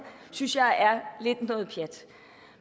synes jeg er lidt noget pjat